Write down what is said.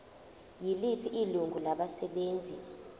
yiliphi ilungu labasebenzi